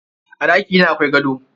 A ɗakina akwai gado.